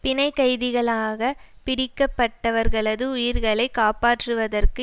பிணைக்கைதிகளாக பிடிக்கப்பட்டவர்களது உயிர்களை காப்பாற்றுவதற்கு